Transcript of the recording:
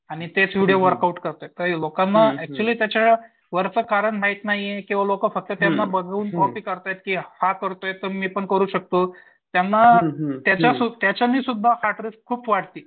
आणि तेच video workout करतायेत. त्या लोकांना ऍक्च्युली त्याच्या कारण माहित नाहीये की बाबा लोकं त्यांना फक्त बघून कॉपी करतायेत की हा करतोय तर मी पण करू शकतो. त्यांना त्याच्याने सुद्धा हा स्ट्रेस खूप वाढतो.